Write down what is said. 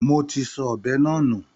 Mo ti sọ ọ̀bẹ náà nù.